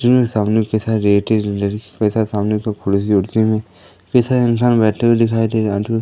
इंसान बैठे हुए दिखाई दे --